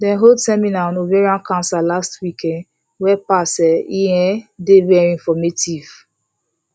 dem hold seminar on ovarian cancer last week um wey pass e um dey very informative